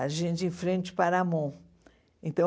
a gente em frente o Paramount. Então